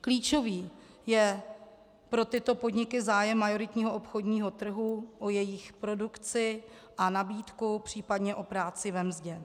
Klíčový je pro tyto podniky zájem majoritního obchodního trhu o jejich produkci a nabídku, případně o práci ve mzdě.